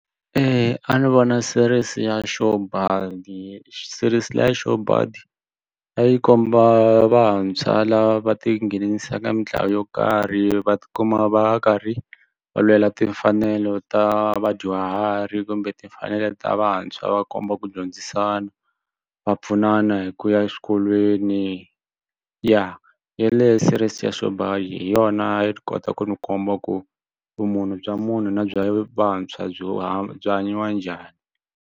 A ni vona series ya sure buddy series leya sure buddy a yi komba vantshwa lava va tinghenelisaka mintlawa yo karhi va ti kuma va karhi va lwela timfanelo ta vadyuhari kumbe timfanelo ta vantshwa va komba ku dyondzisana va pfunana hi ku ya exikolweni ya yeleyo series ya sure buddy hi yona yi kota ku ni komba ku vumunhu bya munhu na bya vantshwa byi va byi hanyiwa njhani.